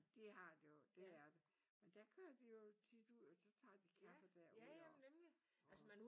De har det jo det er det men der kører de jo tit ud og så tager de kaffe derude og og